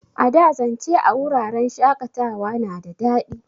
A da, zance a wuraren shakatawa na da daɗi.